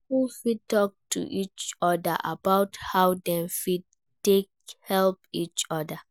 Couples fit talk to each oda about how dem fit take help each oda